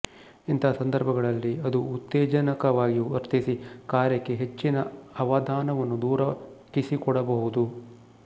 ಇಂಥ ಸಂದರ್ಭಗಳಲ್ಲಿ ಅದು ಉತ್ತೇಜಕವಾಗಿ ವರ್ತಿಸಿ ಕಾರ್ಯಕ್ಕೆ ಹೆಚ್ಚಿನ ಅವಧಾನವನ್ನು ದೊರಕಿಸಿಕೊಡಬಹುದು